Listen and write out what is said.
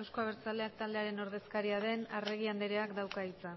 euzko abertzaleak taldearen ordezkaria den arregi andreak dauka hitza